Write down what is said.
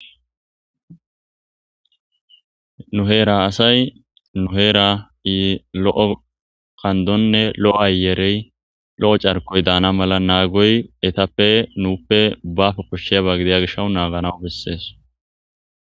Nu heera asay nuheerai lo'o kandonne lo'o ayerey lo'o carkoy daana mala naagoy etappe nuuppe baafe koshsheba gideya gishaw naaganawu bessees.